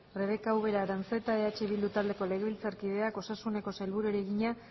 rebeka ubera aranzeta eh bildu taldeko legebiltzarkideak osasuneko sailburuari egina